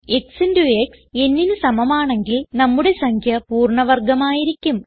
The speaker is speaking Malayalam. x ഇന്റോ ക്സ് nന് സമമാണെങ്കിൽ നമ്മുടെ സംഖ്യ പൂർണ്ണ വർഗം ആയിരിക്കും